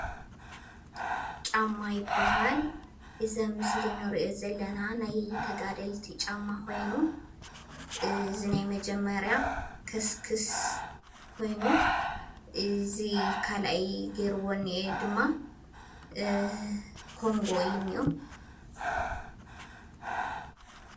ጫማ ይብሃል። እዚ ኣብ ምስሊ እንሪኦ ዘለና ናይ ተጋደልቲ ጫማ ኮይኑ እዚ ናይ መጀመሪያ ከስክስ ኮይኑ እዚ ካልኣይ ጌርዎ እኒኤ ድማ ኮንጎ እዩ እንኦ።